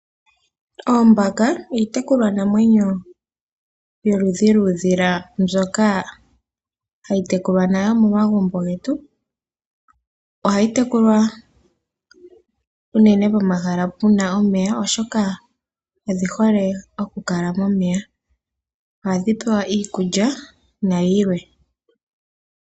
Oombaka iitekulwa namwenyo yoludhi lwoondjuhwa mbyoka hayi tekulwa momagumbo getu. Ohayi tekulwa unene pomahala puna omeya oshoka odhihole pomeya. Ohadhi pewa iikulya nayilwe.